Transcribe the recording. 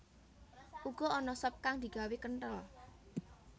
Uga ana sop kang digawé kenthel